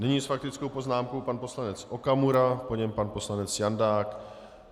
Nyní s faktickou poznámkou pan poslanec Okamura, po něm pan poslanec Jandák.